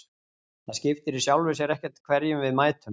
Það skiptir í sjálfu sér ekkert hverjum við mætum.